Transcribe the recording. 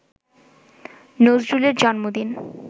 নজরুলের জন্মদিন